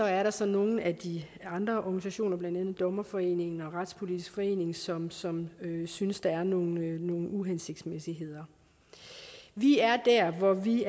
er der så nogle af de andre organisationer blandt andet dommerforeningen og retspolitisk forening som som synes der er nogle nogle uhensigtsmæssigheder vi er der hvor vi